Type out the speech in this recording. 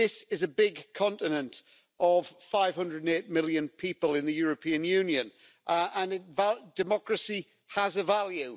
This is a big continent of 508 million people in the European Union and democracy has a value.